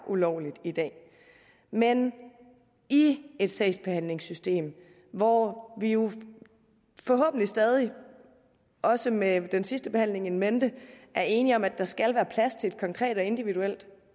ulovligt i dag men i et sagsbehandlingssystem hvor vi jo forhåbentlig stadig også med den sidste behandling in mente er enige om at der skal være plads til et konkret og individuelt